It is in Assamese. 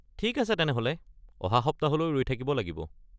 ঠিক আছে তেনেহ’লে, অহা সপ্তাহলৈ ৰৈ থাকিব লাগিব।